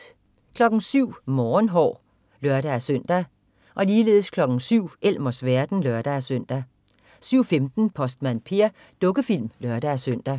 07.00 Morgenhår (lør-søn) 07.00 Elmers verden (lør-søn) 07.15 Postmand Per. Dukkefilm (lør-søn)